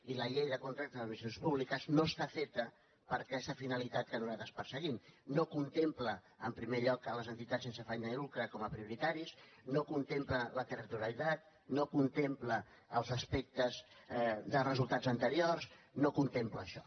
i la llei de contractes de les administracions públiques no està feta per a aquesta finalitat que nosaltres perseguim no contempla en primer lloc les entitats sense afany de lucre com a prioritàries no contempla la territorialitat i no contempla els aspectes de resultats anteriors no contempla això